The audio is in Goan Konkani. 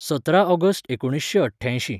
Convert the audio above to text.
सतरा ऑगस्ट एकुणीसशें अठ्ठ्यायशीं